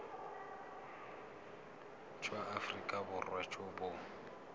jwa aforika borwa jo bo